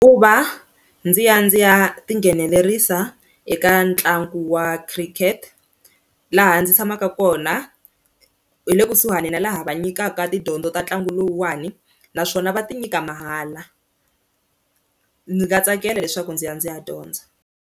Ku va ndzi ya ndzi ya tinghenelerisa eka ntlangu wa Cricket laha ndzi tshamaka kona hi le kusuhani na laha va nyikaka tidyondzo ta ntlangu lowuwani naswona va ti nyika mahala ndzi nga tsakela leswaku ndzi ya ndzi ya dyondza.